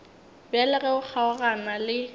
bjale ge o kgaogana le